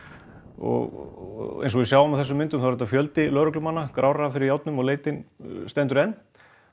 og eins og við sjáum á þessum myndum er þetta fjöldi lögreglumanna gráir fyrir járnum og leitin stendur enn